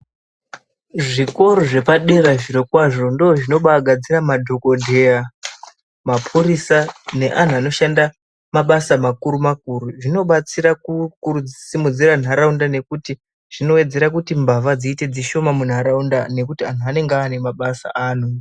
Zvikoro zvepadera zvirokwazvo ndozvinobagadzira madhokodheya, mapurisa neanhu anoshanda mabasa makuru makuru. Zvinobatsira kusimudzira nharaunda nekuti zvinowedzera kuti mbavha dziite dzishoma munharaunda nekuti anhu anenge ane mabasa anoita.